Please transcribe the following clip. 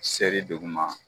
Seri duguma